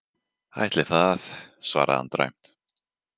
Ætli það, svaraði hann dræmt.